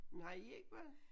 Men har I ikke børn?